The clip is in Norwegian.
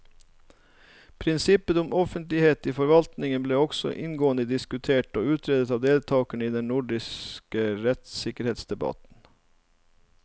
Prinsippet om offentlighet i forvaltningen ble også inngående diskutert og utredet av deltakerne i den nordiske rettssikkerhetsdebatten.